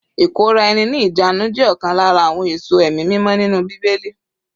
Ìkóra-ẹni-ní-ìjánu jẹ́ ọ̀kan lára àwọn èso ẹ̀mí mímọ́ nínú bíbélì.